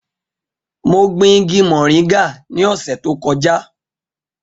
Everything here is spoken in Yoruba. Mo gbin igi moringa ní ọ̀sẹ̀ tó kọjá.